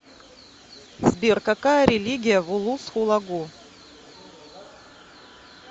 сбер какая религия в улус хулагу